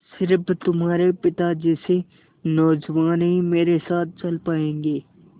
स़िर्फ तुम्हारे पिता जैसे नौजवान ही मेरे साथ चल पायेंगे